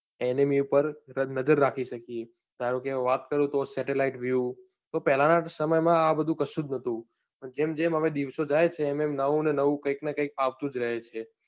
Enemy ઉપર નજર રાખી શકીએ ધારો કે હું વાત કરું તો satellite view તો પહેલા ના સમય માં આ બધું કશું જ ન હતું જેમ જેમ હવે દિવસો જાય છે એમ એમ નવું ને નવું કઈક ને કઈક આવતું જ રહે છે.